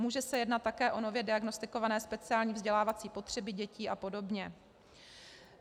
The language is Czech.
Může se jednat také o nově diagnostikované speciální vzdělávací potřeby dětí a podobně.